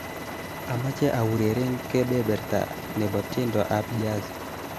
Amache aureren kebeberta nebo tiendo ab jazz